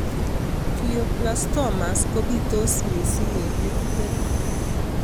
Glioblastomas kopitos mising' eng' metit orit